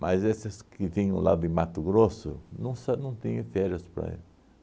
Mas esses que vinham lá de Mato Grosso não sa não tinham férias para eles.